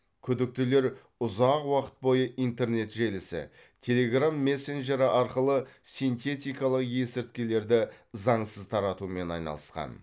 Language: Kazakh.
күдіктілер ұзақ уақыт бойы интернет желісі телеграмм мессенджері арқылы синтетикалық есірткілерді заңсыз таратумен айналысқан